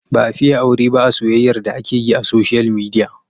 Ba a fiye aure ba a soyyayar da ake yi a soshiyal midiya.